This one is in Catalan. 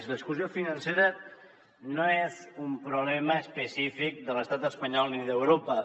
l’exclusió financera no és un problema específic de l’estat espanyol ni d’europa